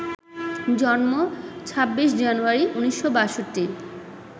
জন্ম ২৬ জানুয়ারি ১৯৬২